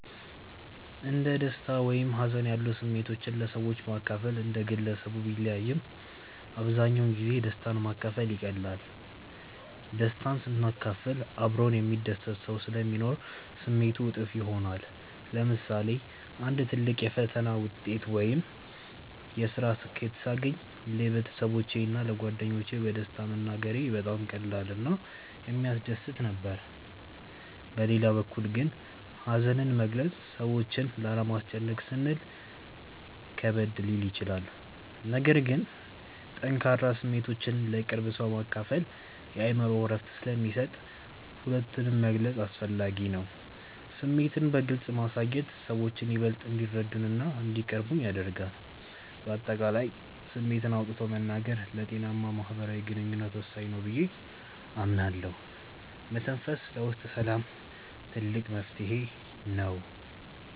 እንደ ደስታ ወይም ሀዘን ያሉ ስሜቶችን ለሰዎች ማካፈል እንደ ግለሰቡ ቢለያይም፣ አብዛኛውን ጊዜ ደስታን ማካፈል ይቀላል። ደስታን ስናካፍል አብሮን የሚደሰት ሰው ስለሚኖር ስሜቱ እጥፍ ይሆናል። ለምሳሌ አንድ ትልቅ የፈተና ውጤት ወይም የስራ ስኬት ሳገኝ ለቤተሰቦቼ እና ለጓደኞቼ በደስታ መናገሬ በጣም ቀላል እና የሚያስደስት ነበር። በሌላ በኩል ግን ሀዘንን መግለጽ ሰዎችን ላለማስጨነቅ ስንል ከበድ ሊል ይችላል። ነገር ግን ጠንካራ ስሜቶችን ለቅርብ ሰው ማካፈል የአእምሮ እረፍት ስለሚሰጥ ሁለቱንም መግለጽ አስፈላጊ ነው። ስሜትን በግልጽ ማሳየት ሰዎችን ይበልጥ እንዲረዱንና እንዲቀርቡን ያደርጋል። በአጠቃላይ ስሜትን አውጥቶ መናገር ለጤናማ ማህበራዊ ግንኙነት ወሳኝ ነው ብዬ አምናለሁ። መተንፈስ ለውስጥ ሰላም ትልቅ መፍትሄ ነው።